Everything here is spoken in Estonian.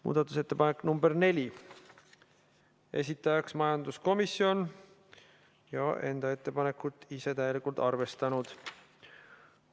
Muudatusettepanek nr 4, esitajaks majanduskomisjon, kes enda ettepanekut on täielikult arvestanud.